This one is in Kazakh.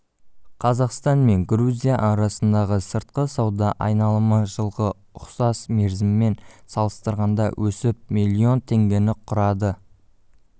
қазақстан мен грузия арасындағы сыртқы сауда айналымы жылғы ұқсас мерзіммен салыстырғанда өсіп миллион теңгені құрады